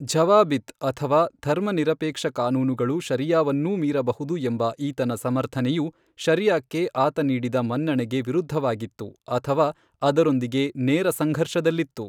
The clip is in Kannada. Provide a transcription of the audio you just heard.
ಝವಾಬಿತ್ ಅಥವಾ ಧರ್ಮನಿರಪೇಕ್ಷ ಕಾನೂನುಗಳು ಶರಿಯಾವನ್ನೂ ಮೀರಬಹುದು ಎಂಬ ಈತನ ಸಮರ್ಥನೆಯು ಶರಿಯಾಕ್ಕೆ ಆತ ನೀಡಿದ ಮನ್ನಣೆಗೆ ವಿರುದ್ಧವಾಗಿತ್ತು ಅಥವಾ ಅದರೊಂದಿಗೆ ನೇರ ಸಂಘರ್ಷದಲ್ಲಿತ್ತು.